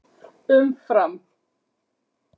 Um Fram: